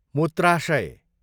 मुत्राशय